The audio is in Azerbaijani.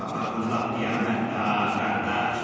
Amma papağın lap qiyamətdir, ha, qardaş.